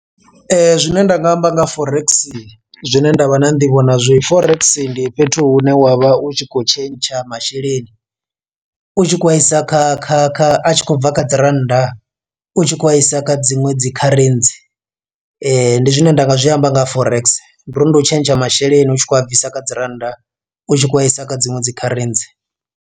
Zwine nda nga amba nga forex zwine nda vha na nḓivho na zwi forex ndi fhethu hune wa vha u tshi khou tshentsha masheleni u tshi khou vha isa kha kha kha a tshi khou bva kha dzi rannda u tshi khou vha isa kha dziṅwe dzi kharentsi. Ndi zwine nda nga zwi amba nga forex ndi uri ndi u tshentsha masheleni u tshi khou a bvisa kha dzi rannda u tshi khou a isa kha dziṅwe dzi kharentsi.